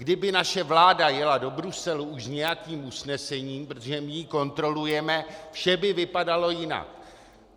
Kdyby naše vláda jela do Bruselu už s nějakým usnesením, protože my ji kontrolujeme, vše by vypadalo jinak.